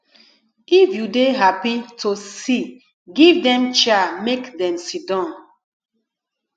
if you dey happy to see give dem chair make dem sidon